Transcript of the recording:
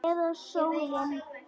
Eða sólin?